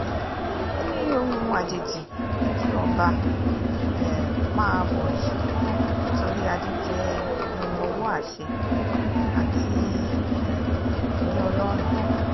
ó ní ohun àjèjì ni kí ọba um máa bọ̀rìṣà nítorí adé jẹ́ ohun ọwọ́ àṣẹ àti um ìní ọlọ́run